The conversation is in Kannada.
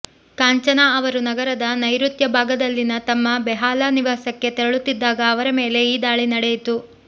ಕಾಂಚನಾ ಅವರು ನಗರದ ನೈಋತ್ಯ ಭಾಗದಲ್ಲಿನ ತಮ್ಮ ಬೆಹಾಲಾ ನಿವಾಸಕ್ಕೆ ತೆರಳುತ್ತಿದ್ದಾಗ ಅವರ ಮೇಲೆ ಈ ದಾಳಿ ನಡೆಯಿತು